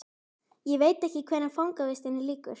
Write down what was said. Ég veit ekki hvenær fangavistinni lýkur.